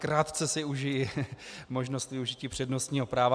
Krátce si užiji možnosti využití přednostního práva.